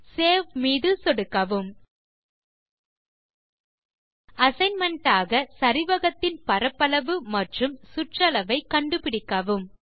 save மீது சொடுக்கவும் assignment ஆக சரிவகத்தின் பரப்பளவு மற்றும் சுற்றளவு ஐ கண்டுபிடிக்கவும்